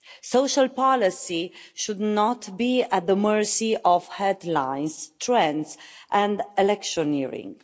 Social policy should not be at the mercy of headlines, trends and electioneering.